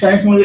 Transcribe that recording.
science मुळे